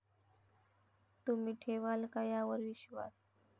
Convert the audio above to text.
तुम्ही ठेवाल का यावर विश्वास?